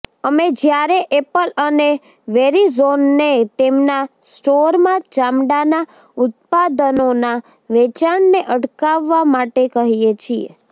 અમે જ્યારે એપલ અને વેરિઝોનને તેમનાં સ્ટોરમાં ચામડાંના ઉત્પાદનોના વેચાણને અટકાવવા માટે કહીએ છીએ